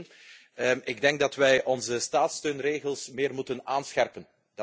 Eén ik denk dat wij onze staatssteunregels meer moeten aanscherpen.